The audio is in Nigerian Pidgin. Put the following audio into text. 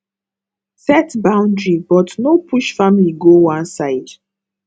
set boundary but no push family go one side